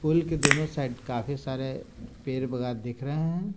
पुल के दोनों साइड काफी सारे पेड बगात दिख रहे है।